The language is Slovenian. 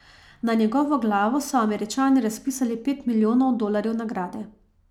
Na njegovo glavo so Američani razpisali pet milijonov dolarjev nagrade.